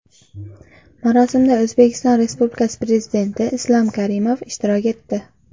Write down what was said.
Marosimda O‘zbekiston Respublikasi Prezidenti Islom Karimov ishtirok etdi.